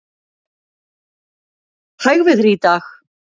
Hægviðri í dag